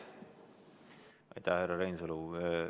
Aitäh, härra Reinsalu!